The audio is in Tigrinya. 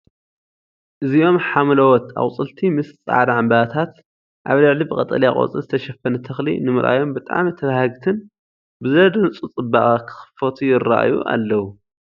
እዚኦም ሓምለዎት ኣቑፅልቲ ምስ ጻዕዳ ዕምባባታት ኣብ ልዕሊ ብቀጠልያ ቆጽሊ ዝተሸፈነ ተኽሊ ንምርኣዮም ብጣዕሚ ተባህግቲን ብዘደንጹ ጽባቐ ክኽፈቱ ይረኣዩ ኣለው።